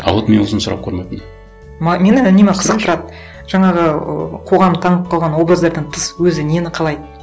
а вот мен осыны сұрап көрмеппін мені үнемі қызықтырады жаңағы ыыы қоғам таңып қойған образдардан тыс өзі нені қалайды